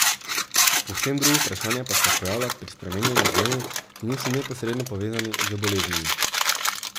Povsem drugo vprašanje pa se pojavlja pri spreminjanju genov, ki niso neposredno povezani z boleznimi.